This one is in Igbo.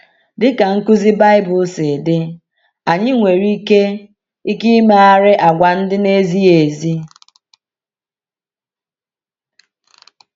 Dị ka nkuzi Baịbụl si dị, anyị nwere ike ike imegharị àgwà ndị na-ezighị ezi.